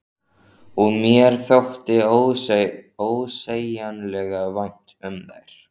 Og mér þótti ósegjanlega vænt um þær.